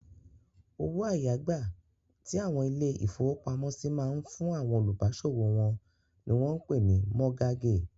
Owó àyágbà tí àwọn ilé-ìfowópamọ́sí máa ń fún àwọn olùbáṣòwò wọn ni wọ́n pè ní mọ́gágè.